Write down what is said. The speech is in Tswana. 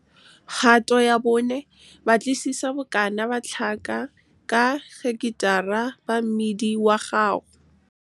Kgato ya 4 - Batlisisa bokana ba tlhaka ka heketara ba mmidi wa gago. Kgato ya 4 - Batlisisa bokana ba tlhaka ka heketara ba mmidi wa gago.